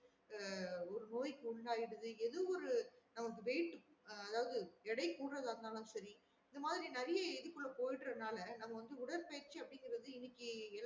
ஒரு நோய் குள்ளயிரது எதோ ஒரு நமக்கு weight அதாவது எடை கூடுறதா இருந்தாலும் செரி இந்த மாறி நெறையா எடைக்கு உள்ள போயிடறதுனால நம்ம வந்து உடற்பயிற்சி அப்டிங்குற இன்னெக்கு